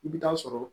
I bɛ taa sɔrɔ